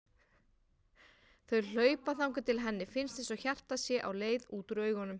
Þau hlaupa þangað til henni finnst einsog hjartað sé á leið út úr augunum.